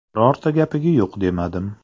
Birorta gapiga yo‘q demadim.